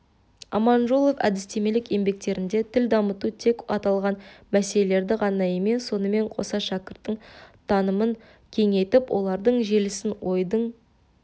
аманжолов әдістемелік еңбектеріндегі тіл дамыту тек аталған мәселелелерді ғана емес сонымен қоса шәкірттің танымын кеңейтіп ойлардың желісін ойдың